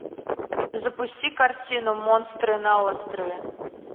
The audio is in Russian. запусти картину монстры на острове